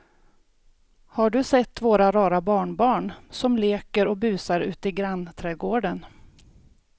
Har du sett våra rara barnbarn som leker och busar ute i grannträdgården!